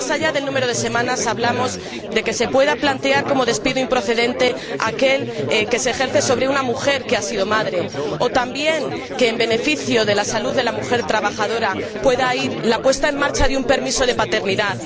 Pero, más allá del número de semanas, hablamos de que se pueda plantear como despido improcedente aquel que se ejerce sobre una mujer que ha sido madre, o también de que en beneficio de la salud de la mujer trabajadora se ponga en marcha un permiso de paternidad.